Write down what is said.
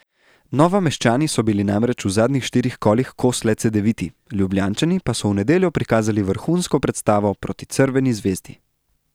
Novomeščani so bili namreč v zadnjič štirih kolih kos le Cedeviti, Ljubljančani pa so v nedeljo prikazali vrhunsko predstavo proti Crveni zvezdi.